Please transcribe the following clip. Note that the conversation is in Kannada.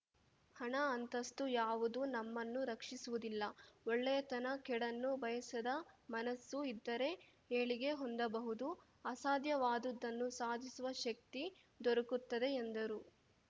ಹಣ ಅಂತಸ್ತು ಯಾವುದೂ ನಮ್ಮನ್ನು ರಕ್ಷಿಸುವುದಿಲ್ಲ ಒಳ್ಳೆಯ ತನ ಕೇಡನ್ನು ಬಯಸದ ಮನಸ್ಸು ಇದ್ದರೆ ಏಳಿಗೆ ಹೊಂದಬಹುದು ಅಸಾಧ್ಯವಾದುದನ್ನು ಸಾಧಿಸುವ ಶಕ್ತಿ ದೊರಕುತ್ತದೆ ಎಂದರು